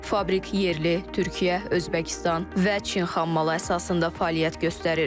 Fabrik yerli, Türkiyə, Özbəkistan və Çin xammalı əsasında fəaliyyət göstərir.